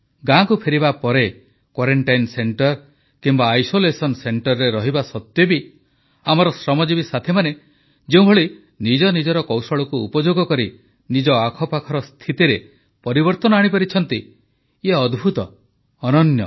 ଗାଁକୁ ଫେରିବା ପରେ କ୍ୱାରେଂଟାଇନ୍ ସେଂଟର କିମ୍ବା ଆଇସୋଲେସନ୍ ସେଂଟରରେ ରହିବା ସତ୍ୱେ ବି ଆମର ଶ୍ରମଜୀବି ସାଥୀମାନେ ଯେଉଁଭଳି ନିଜ ନିଜର କୌଶଳକୁ ଉପଯୋଗ କରି ନିଜ ଆଖପାଖର ସ୍ଥିତିରେ ପରିବର୍ତ୍ତନ ଆଣିପାରିଛନ୍ତି ଇଏ ଅଦ୍ଭୁତ ଅନନ୍ୟ